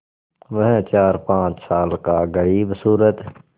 वह चारपाँच साल का ग़रीबसूरत